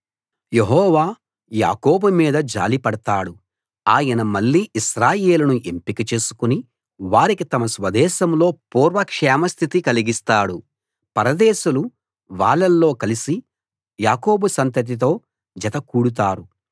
యెహోవా యాకోబు మీద జాలిపడతాడు ఆయన మళ్ళీ ఇశ్రాయేలును ఎంపిక చేసుకుని వారికి తమ స్వదేశంలో పూర్వ క్షేమ స్థితి కలిగిస్తాడు పరదేశులు వాళ్ళల్లో కలిసి యాకోబు సంతతితో జత కూడుతారు